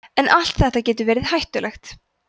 en allt þetta getur verið hættulegt